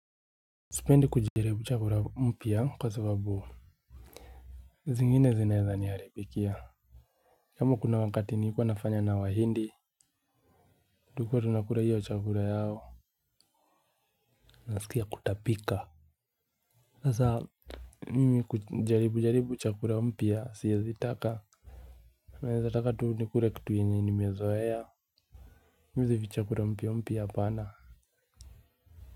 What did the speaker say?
Sipendi kujaribu chakula mpya kwa sababu zingine zinaeza niharibikia. Kama kuna wakati nilikuwa nafanya na wahindi, tulikuwa tunakula hiyo chakula yao. Nasikia kutapika. Sasa mimi kujaribu jaribu chakula mpya siezi taka. Naeza taka tu nikule kitu yenye nimezoea. Mi hizi vichakula mpya mpya hapana.